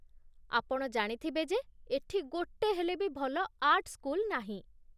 ଆପଣ ଜାଣିଥିବେ ଯେ ଏଠି ଗୋଟେ ହେଲେ ବି ଭଲ ଆର୍ଟ୍ ସ୍କୁଲ ନାହିଁ ।